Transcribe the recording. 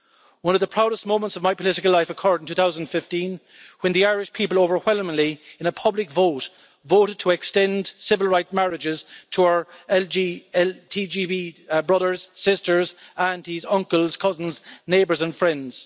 One of the proudest moments of my political life occurred in 2015 when the Irish people overwhelmingly, in a public vote, voted to extend civil right marriages to our LGBTI brothers, sisters, aunties, uncles, cousins, neighbours and friends.